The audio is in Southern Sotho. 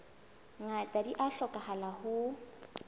ngata di a hlokahala ho